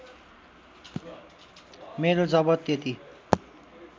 मेरो जब त्यति